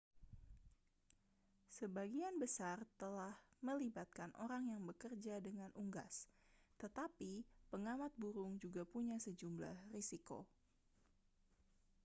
sebagian besar telah melibatkan orang yang bekerja dengan unggas tetapi pengamat burung juga punya sejumlah risiko